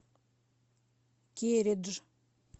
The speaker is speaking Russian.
кередж